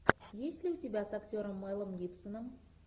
есть ли у тебя с актером мэлом гибсоном